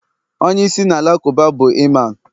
onye isi na alakụba bu Iman